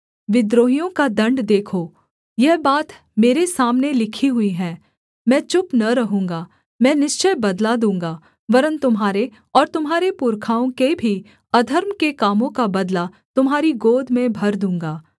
देखो यह बात मेरे सामने लिखी हुई है मैं चुप न रहूँगा मैं निश्चय बदला दूँगा वरन् तुम्हारे और तुम्हारे पुरखाओं के भी अधर्म के कामों का बदला तुम्हारी गोद में भर दूँगा